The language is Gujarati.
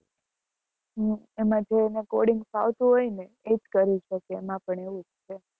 અને એમાં જેને coding ફાવતું હોય ને એ જ કરી સકે છે એમાં એમાં પણ એવું જ છે.